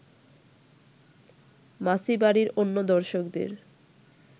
মাছি বাড়ির অন্য দর্শকদের